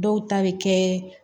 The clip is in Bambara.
Dɔw ta bɛ kɛ